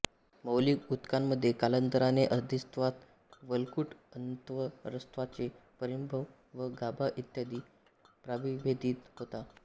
मौलिक ऊतकांमध्ये कालांतराने अधिस्त्वचा वल्कुट अन्तस्त्वचा परिरंभ व गाभा इ प्राविभेदीत होतात